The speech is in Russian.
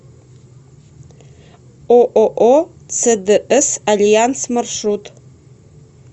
ооо цдс альянс маршрут